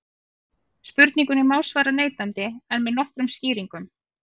Spurningunni má svara neitandi en með nokkrum skýringum.